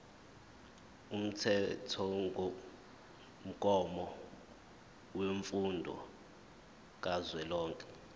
umthethomgomo wemfundo kazwelonke